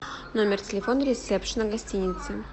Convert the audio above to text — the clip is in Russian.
номер телефона ресепшена гостиницы